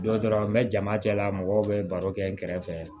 Dɔ taara n bɛ jama cɛla mɔgɔw bɛ baro kɛ n kɛrɛfɛ